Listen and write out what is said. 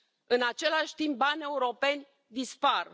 În același timp, bani europeni dispar.